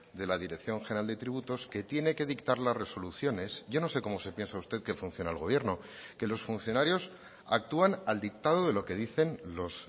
de la dirección general de tributos que tiene que dictar las resoluciones yo no sé cómo se piensa usted que funciona el gobierno que los funcionarios actúan al dictado de lo que dicen los